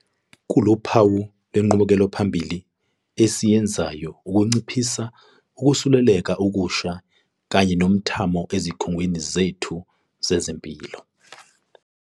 Kuluphawu lwenqubekelaphambili esiyenzayo ukunciphisa ukusuleleka okusha kanye nomthamo ezikhungweni zethu zezempilo.